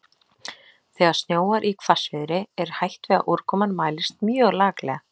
Þegar snjóar í hvassviðri er hætt við að úrkoman mælist mjög laklega.